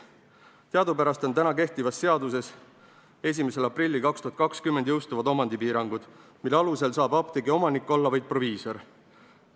Teadupärast on täna kehtivas seaduses 1. aprillil 2020 jõustuvad omandipiirangud, mille alusel saab apteegi omanik olla vaid proviisor.